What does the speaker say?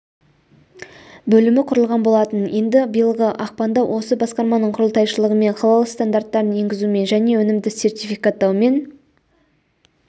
бөлімі құрылған болатын енді биылғы ақпанда осы басқарманың құрылтайшылығымен халал стандарттарын енгізумен және өнімді сертификаттаумен